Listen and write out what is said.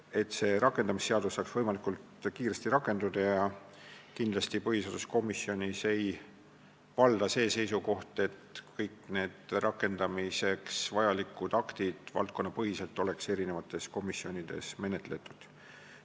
Kindlasti ei ole põhiseaduskomisjonis valdav see seisukoht, et kõik rakendamiseks vajalikud aktid oleksid valdkonnapõhiselt eri komisjonides menetletud.